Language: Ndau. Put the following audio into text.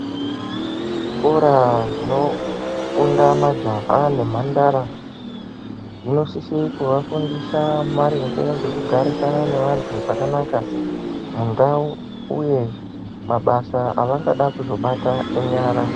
Zvikora zvinofunda majaha nemhandara zvinosise kuvafundisa maringe ngekugarisana nevanthu zvakanaka mundau uye mabasa avangada kuzobata enyara.